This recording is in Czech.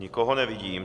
Nikoho nevidím.